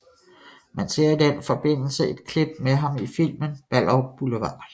Man ser i den forbindelse et klip med ham i filmen Ballerup Boulevard